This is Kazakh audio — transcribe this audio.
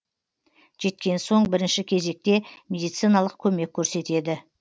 жеткен соң бірінші кезекте медициналық көмек көрсетеді